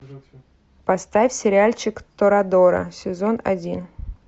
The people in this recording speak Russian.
поставь сериальчик торадора сезон один